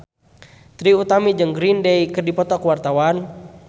Trie Utami jeung Green Day keur dipoto ku wartawan